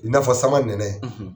I n'afɔ sama nɛnɛ